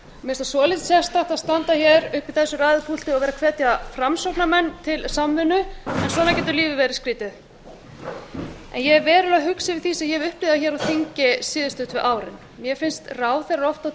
finnst það svolítið sérstakt að standa hér uppi í þessu ræðupúlti og vera að hvetja framsóknarmenn til samvinnu en svona getur lífið verið skrýtið en ég er verulega hugsi yfir því sem ég hef upplifað hér á þingi síðustu tvö árin mér finnst ráðherrar oft á